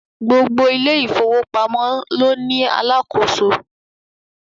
Gbogbo ilé ìfọwọ́pamọ́ ló ní Alákóso